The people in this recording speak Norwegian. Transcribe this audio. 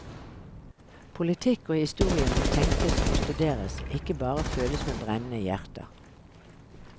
Politikk og historie må tenkes og studeres, ikke bare føles med brennende hjerter.